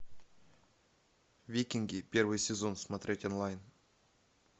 викинги первый сезон смотреть онлайн